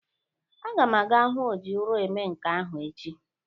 Aga m aga hu o ji ụrọ eme nka ahụ echi.